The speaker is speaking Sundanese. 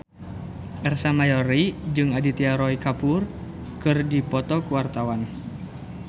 Ersa Mayori jeung Aditya Roy Kapoor keur dipoto ku wartawan